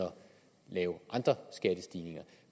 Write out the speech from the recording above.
lave andre skattestigninger